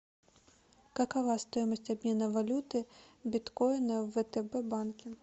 какова стоимость обмена валюты биткоина в втб банке